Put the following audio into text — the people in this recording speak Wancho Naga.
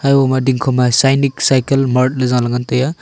uma dingkho ma sainik cycle mart ley zaley ngan taiga.